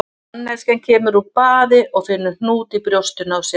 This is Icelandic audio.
Manneskja kemur úr baði og finnur hnút í brjóstinu á sér.